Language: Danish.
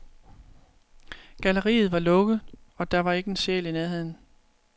Galleriet var lukket, og der var ikke en sjæl i nærheden.